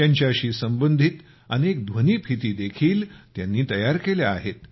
त्यांच्याशी संबंधित अनेक ध्वनिफीत देखील त्यांनी तयार केल्या आहेत